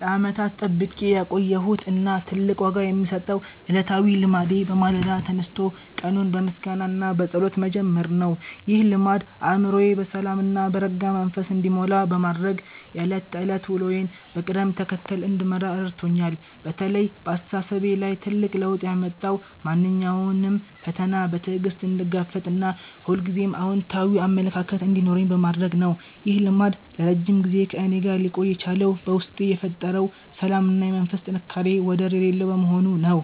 ለዓመታት ጠብቄ ያቆየሁት እና ትልቅ ዋጋ የምሰጠው ዕለታዊ ልማዴ በማለዳ ተነስቶ ቀኑን በምስጋና እና በጸሎት መጀመር ነው። ይህ ልማድ አእምሮዬ በሰላም እና በረጋ መንፈስ እንዲሞላ በማድረግ የዕለት ተዕለት ውሎዬን በቅደም ተከተል እንድመራ ረድቶኛል። በተለይ በአስተሳሰቤ ላይ ትልቅ ለውጥ ያመጣው ማንኛውንም ፈተና በትዕግስት እንድጋፈጥ እና ሁልጊዜም አዎንታዊ አመለካከት እንዲኖረኝ በማድረጉ ነው። ይህ ልማድ ለረጅም ጊዜ ከእኔ ጋር ሊቆይ የቻለው በውስጤ የፈጠረው ሰላም እና የመንፈስ ጥንካሬ ወደር የሌለው በመሆኑ ነው።